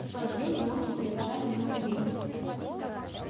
в тот день волки пробежали много миль